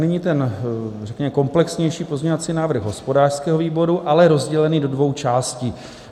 Nyní ten, řekněme, komplexnější pozměňovací návrh hospodářského výboru, ale rozdělený do dvou částí.